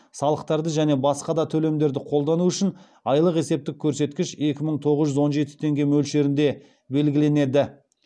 салықтарды және басқа да төлемдерді қолдану үшін айлық есептік көрсеткіш екі мың тоғыз жүз он жеті теңге мөлшерінде белгіленеді